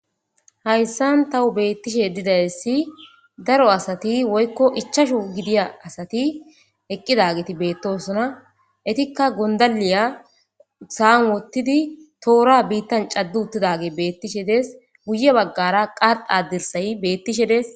hayssan tawu beettishe didayssi daro asati woykko ichashu gidiya asati eqqidageti beettosona etikka gondaliya saam wottidi toora biittan caddu uttidage beettishe des guye baggara qalqadirsayi bettishe des